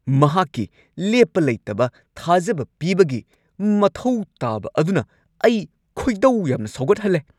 ꯃꯍꯥꯛꯀꯤ ꯂꯦꯞꯄ ꯂꯩꯇꯕ ꯊꯥꯖꯕ ꯄꯤꯕꯒꯤ ꯃꯊꯧ ꯇꯥꯕ ꯑꯗꯨꯅ ꯑꯩ ꯈꯣꯏꯗꯧ ꯌꯥꯝꯅ ꯁꯥꯎꯒꯠꯍꯜꯂꯦ꯫